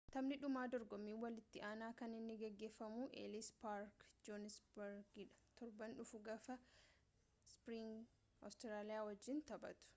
taphni dhumaa dorgommii walitti aanaa kan inni geggeffamuu elis paark johanisbargitidha turban dhufuu gaafa springboks awustiraaliya wajjin taphatu